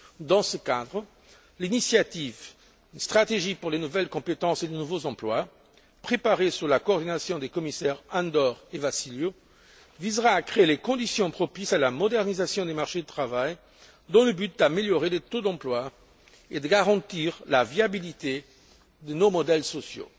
Dans ce cadre, l'initiative intitulée Une stratégie pour les nouvelles compétences et les nouveaux emplois, préparée sous la coordination des commissaires Andor et Vassiliou, visera à créer les conditions propices à la modernisation du marché du travail dans le but d'améliorer les taux d'emploi et de garantir la viabilité de nos modèles sociaux.